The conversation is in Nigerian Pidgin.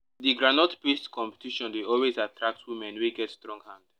the groundnut paste competition dey always attract women wey get strong hand.